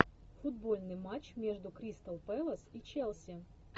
футбольный матч между кристал пэлас и челси